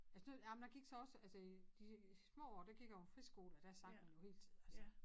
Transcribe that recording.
Altså nu ej men der gik så også altså i de små år der gik jeg jo på friskole og der sang man jo hele tiden altså